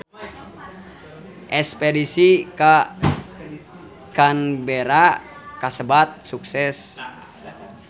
Espedisi ka Canberra kasebat sukses